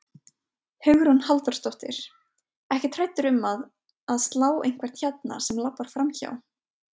Hugrún Halldórsdóttir: Ekkert hræddur um að, að slá einhvern hérna sem labbar framhjá?